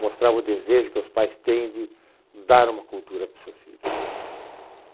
Mostrava o desejo que os pais têm de dar uma cultura para os seus filhos.